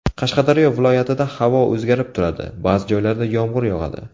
Qashqadaryo viloyatida havo o‘zgarib turadi, ba’zi joylarda yomg‘ir yog‘adi.